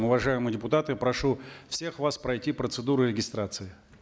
уважаемые депутаты прошу всех вас пройти процедуру регистрации